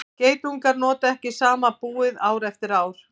geitungar nota ekki sama búið ár eftir ár